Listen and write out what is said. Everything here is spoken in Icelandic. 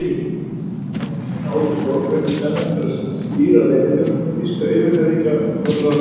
Ásgeirssyni á Hótel Borg, ætti senn eftir að stýra leyniþjónustu þýska yfirherforingjaráðsins.